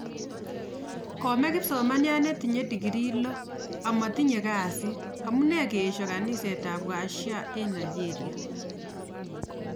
Komee kipsomaniat netiche degree loo amatiche kasiit. Amunee keeshoo kaniset ab washia eng nigeria